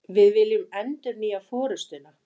Við viljum endurnýja forustuna